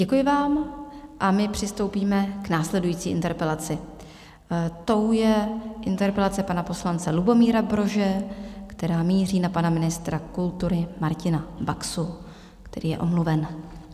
Děkuji vám a my přistoupíme k následující interpelaci, tou je interpelace pana poslance Lubomíra Brože, která míří na pana ministra kultury Martina Baxu, který je omluven.